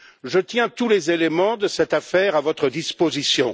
Je tiens tous les éléments de cette affaire à votre disposition.